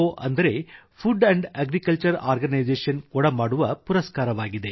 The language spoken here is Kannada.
ಅಂದರೆ ಫುಡ್ ಅಗ್ರಿಕಲ್ಚರ್ ಆರ್ಗನೈಸೇಶನ್ ಕೊಡಮಾಡುವ ಪುರಸ್ಕಾರವಾಗಿದೆ